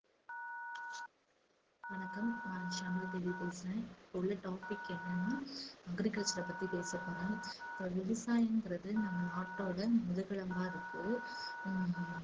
வணக்கம் நான் ஷியாமளா தேவி பேசுறேன். இப்ப உள்ள topic என்னன்னா agriculture அ பத்தி பேச போறேன். so விவசாயம்ங்கிறது நம்ம நாட்டோட முதுகெலும்பா இருக்கு. ஹம்